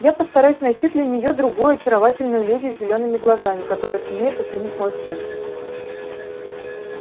я постараюсь найти для неё другую очаровательную леди с зелёными глазами которая сумеет оценить мой вкус